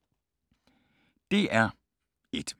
DR1